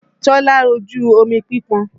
Tọ́lá rojú omi pípọn